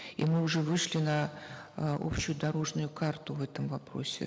и мы уже вышли на э общую дорожную карту в этом вопросе